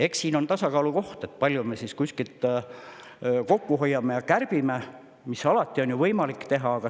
Eks siin on tasakaalu koht, kui palju me kuskilt kokku hoiame ja kärbime, mida on ju alati võimalik teha.